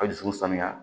A dusu sanuya